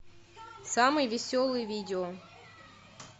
самые веселые видео